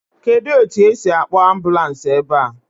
Kedụ etu esi akpọọ ambulans ebe?